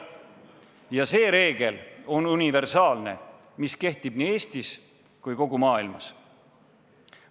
Ja see reegel on universaalne, kehtides nii Eestis kui ka mujal maailmas.